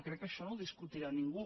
crec que això no ho deu discutir ningú